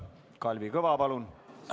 Kalvi Kõva, palun!